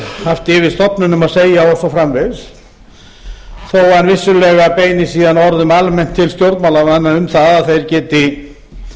haft yfir stofnunum að segja og svo framvegis þó vissulega beini hann síðan orðum að almennt til stjórnmálamanna um að þeir geti